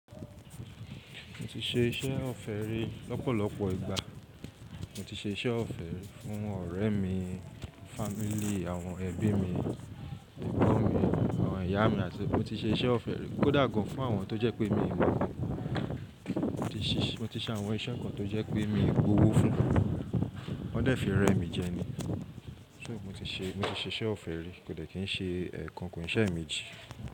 Mo ti ṣe iṣẹ́ ọ̀fẹ́ rí lọ́pọ̀lọpọ̀ ìgbà. Mo ti ṣe iṣẹ́ ọ̀fẹ́ fún ọ̀rẹ́ mi, fámílí, àwọn ẹbí mi, ẹ̀gbọ́n mi, àwọn ìyá mi àti mo ti ṣe iṣẹ́ ọ̀fẹ́ rí kódà gan fún àwọn tó jẹ́ pé mi n mo gan. Mo ti ṣe àwọn iṣẹ́ kan tó jẹ́ pé mi ń gbówó fún, wọ́n dẹ̀ fi rẹ mi jẹ ni. So mo ti ṣe mo ti se iṣẹ́ ọ̀fẹ́ rí kò dẹ̀ kí n ṣe ẹ̀ẹ̀kan ko n sẹ́meeji.